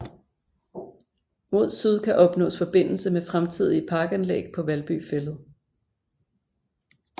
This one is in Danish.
Mod Syd kan opnaas Forbindelse med fremtidige Parkanlæg paa Valby Fælled